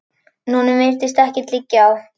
En honum virtist ekkert liggja á.